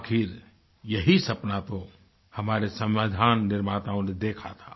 आखिर यही सपना तो हमारे संविधान निर्माताओं ने देखा था